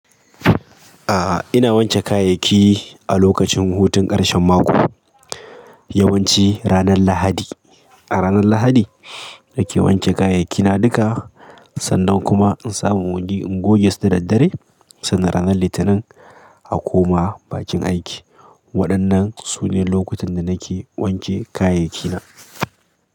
A'a ina wanke kayayyaki a lokacin hutun ƙarshen mako, yawanci ranar Lahadi. A ranar Lahadi nake wanke kayayyakina duka sannan kuma in samu wuri in goge su da daddare sannan ranar Litinin a koma bakin aiki. Waɗannan su ne lokutan da nake wanke kayayyakina.